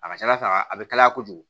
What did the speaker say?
A ka ca ala fɛ a a bɛ kalaya kojugu